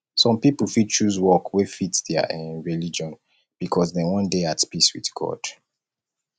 some pipo fit choose work wey fit their um religion because dem wan dey at peace with god